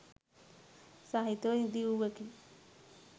සහිතව ඉදි වූවකි